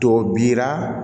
Tɔ bira